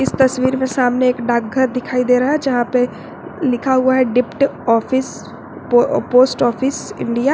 इस तस्वीर में सामने एक डाकघर दिखाई दे रहा है जहां पर लिखा हुआ है dept office post office India.